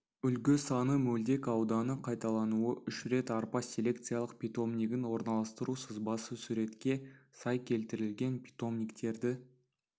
үлгі саны мөлдек ауданы қайталануы үш рет арпа селекциялық питомнигін орналастыру сызбасы суретке сай келтірілген питомниктерді